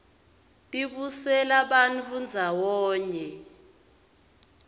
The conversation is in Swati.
tibutsela bantfu ndzawonye